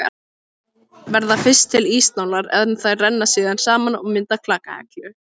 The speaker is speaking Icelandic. Verða fyrst til ísnálar en þær renna síðan saman og mynda klakahellu.